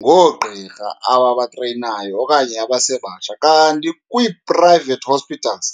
ngoogqirha ababatreyinayo okanye abasebatsha, kanti kwii-private hospitals